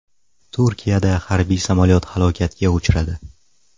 Turkiyada harbiy samolyot halokatga uchradi.